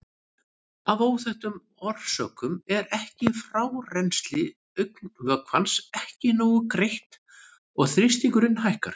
Af óþekktum orsökum er frárennsli augnvökvans ekki nógu greitt og þrýstingurinn hækkar.